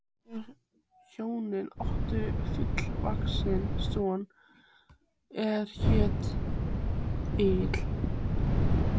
Þau hjón áttu fullvaxinn son er hét Egill.